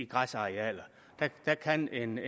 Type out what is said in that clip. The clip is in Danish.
græsarealer der kan en